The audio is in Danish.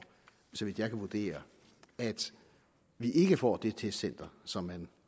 så vidt jeg kan vurdere at vi ikke får det testcenter som man